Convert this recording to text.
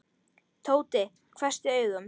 Tóti hvessti augum.